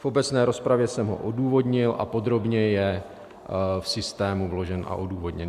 V obecné rozpravě jsem ho odůvodnil a podrobně je v systému vložen a odůvodněn.